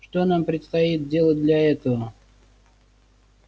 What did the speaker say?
что нам предстоит делать для этого